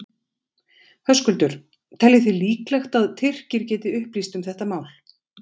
Höskuldur: Teljið þið líklegt að Tyrkir geti upplýst um þetta mál?